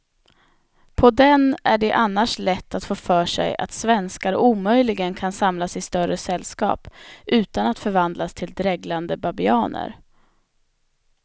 På den är det annars lätt att få för sig att svenskar omöjligen kan samlas i större sällskap utan att förvandlas till dreglande babianer.